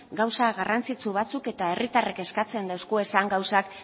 gauza garrantzitsu batzuk eta herritarrek eskatzen dizkiguten gauzak